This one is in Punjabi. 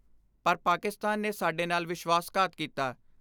ਪਰ ਪਾਕਿਸਤਾਨ ਨੇ ਸਾਡੇ ਨਾਲ ਵਿਸ਼ਵਾਸਘਾਤ ਕੀਤਾ।